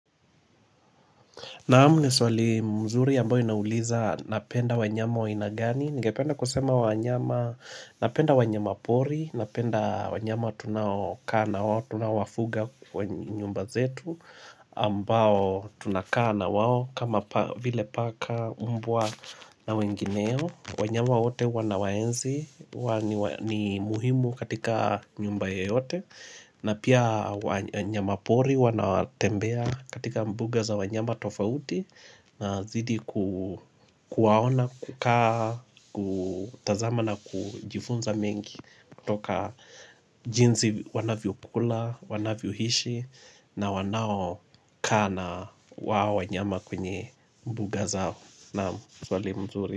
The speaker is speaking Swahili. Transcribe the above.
Naam, ni swali mzuri ambayo inauliza napenda wanyama wa aina gani. Ningependa kusema wanyama, napenda wanyama pori, napenda wanyama tunaokaa na wao, tunawafuga kwa nyumba zetu ambao tunakaa na wao kama vile paka mbwa na wengineo. Wanyama wote huwa nawaenzi huwa ni muhimu katika nyumba yeyote na pia wanyama pori huwa natembea katika mbuga za wanyama tofauti Nazidi kuwaona kukaa, kutazama na kujifunza mengi Toka jinsi wanavyokula, wanavyohishi na wanaokaa na wao wanyama kwenye mbuga zao. Naam, swali mzuri.